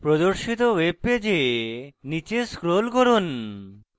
প্রদর্শিত web পেজে নীচে scroll করুন